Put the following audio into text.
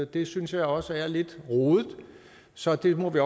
det synes jeg også er lidt rodet så det må vi